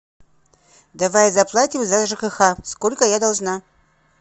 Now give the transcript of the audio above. давай заплатим за жкх сколько я должна